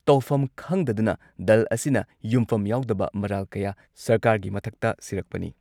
ꯇꯧꯐꯝ ꯈꯪꯗꯗꯨꯅ ꯗꯜ ꯑꯁꯤꯅ ꯌꯨꯝꯐꯝ ꯌꯥꯎꯗꯕ ꯃꯔꯥꯜ ꯀꯌꯥ ꯁꯔꯀꯥꯔꯒꯤ ꯃꯊꯛꯇ ꯁꯤꯔꯛꯄꯅꯤ꯫